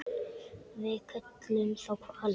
Við köllum þá hvali.